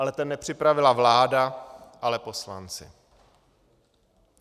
Ale ten nepřipravila vláda, ale poslanci.